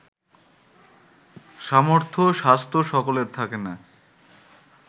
সামর্থ্য স্বাস্থ্য সকলের থাকে না